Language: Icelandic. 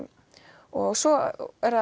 og svo er